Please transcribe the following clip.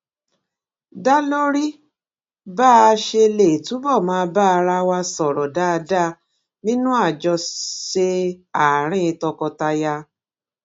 dá lórí bá a ṣe lè túbò máa bá ara wa sòrò dáadáa nínú àjọṣe àárín tọkọtaya